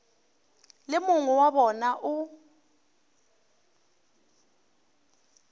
le mongwe wa bona o